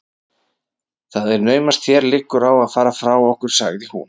Það er naumast þér liggur á að fara frá okkur sagði hún.